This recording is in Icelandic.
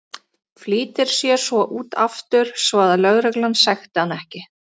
Flýtir sér svo út aftur svo að lögreglan sekti hann ekki.